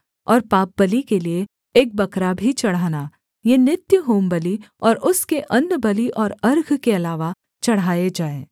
और पापबलि के लिये एक बकरा भी चढ़ाना ये नित्य होमबलि और उसके अन्नबलि और अर्घ के अलावा चढ़ाए जाएँ